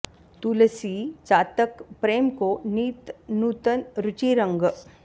तुलसी चातक प्रेम को नित नूतन रुचि रंग